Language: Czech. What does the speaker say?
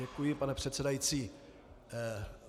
Děkuji, pane předsedající.